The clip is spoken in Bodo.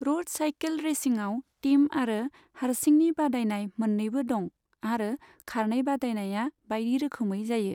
र'ड साइकेल रेसिंआव टीम आरो हारसिंनि बादायनाय मोननैबो दं, आरो खारनाय बादायनाया बायदिरोखौमै जायो।